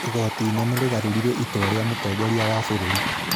Igooti Inene rĩgarũrire itua rĩa Mũtongoria wa Bũrũri